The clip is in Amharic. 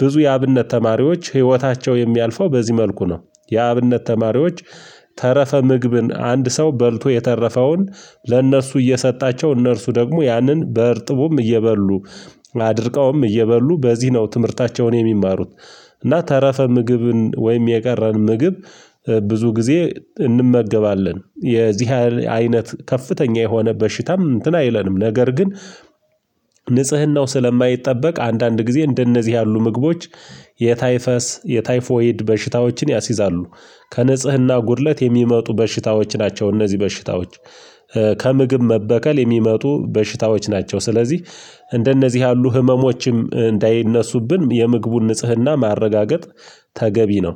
ብዙ የአብነት ተማሪዎች ህይወታቸው የሚያልፈው በዚህ መልኩ ነው። የአብነት ተማሪዎች ተረፈ ምግብን አንድ ሰው በልቶ የተረፈውን ለእነርሱ እየሰጣቸው እነርሱ ደግሞ ያንን በእርጥቡም እየበሉ አድርቀውም እየበሉ በዚህ ነው ትምህርታቸውን የሚማሩት። እና ተረፈ ምግብን ወይም የቀረን ምግብ ብዙ ጊዜ እንመገባለን የዚህ አይነት ከፍተኛ የሆነ በሽታም እንትን አይለንም። ነገር ግን ንጽህናው ስለማይጠበቅ አንዳንድ ጊዜ እንደነዚህ ያሉ ምግቦች የታይፈስ የታይፎይድ በሽታዎችን ያስይዛሉ። ከንጽህና ጉድለት የሚመጡ በሽታዎች ናቸው። እነዚህ በሽታዎች ከምግብ መበከል የሚመጡ በሽታዎች ናቸው። ስለዚህ እንደነዚህ ያሉ ህመሞችም እንዳይነሱብን የምግቡን ንጽህና ማረጋገጥ ተገቢ ነው